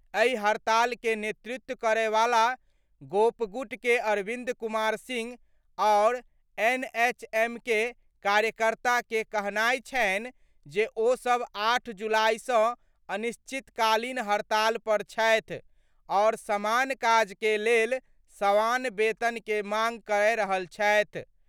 एहि हड़ताल के नेतृत्व करय वाला गोपगुट के अरविंद कुमार सिंह आओर एनएचएम के कार्यकर्ता के कहनाय छनि जे ओ सभ 8 जुलाई सं अनिश्चितकालीन हड़ताल पर छथि आओर समान काज के लेल समान वेतन के मांग कय रहल छथि।